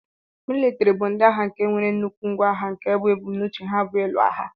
Militiri bu ndi agha nke nwere nnukwu ngwa agha nke bu ebumnauche ha bu ilụ agha.